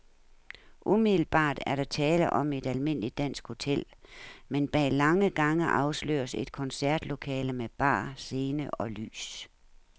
Umiddelbart er der tale om et almindeligt dansk hotel, men bag lange gange afsløres et koncertlokale med bar, scene og lys.